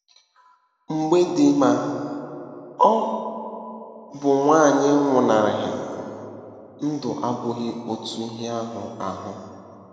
Mgbe di ma ọ bụ nwunye nwụnahụrụ, ndụ abụghị otu ihe ahụ. ahụ.